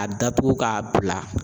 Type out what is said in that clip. A datugu k'a bila.